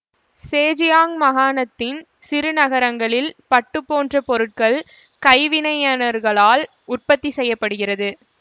Zhejiang மாகாணத்தின் சிறுநகரங்களில் பட்டு போன்ற பொருட்கள் கைவினைஞர்களால் உற்பத்தி செய்ய படுகிறது